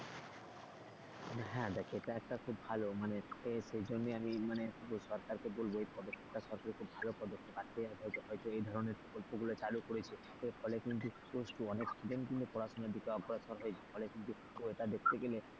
হ্যাঁ দেখ এটা একটা খুব ভালো মানে সেই জন্যই আমি মানে এই সরকারকে বলবো এই পদক্ষেপটা সরকারের খুব ভালো পদক্ষেপ এই ধরনের প্রকল্প গুলো চালু করেছে ফলে কিন্তু অনেক student কিন্তু পড়াশোনা থেকে অগ্রসর হয়েছে ফলে কিন্তু এটা দেখতে গেলে,